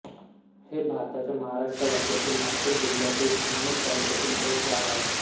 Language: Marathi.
हे भारताच्या महाराष्ट्र राज्यातील नाशिक जिल्ह्यातील सिन्नर तालुक्याचे गाव आहे